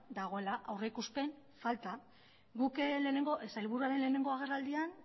dagoela aurrikuspen falta guk sailburuaren lehenengo agerraldian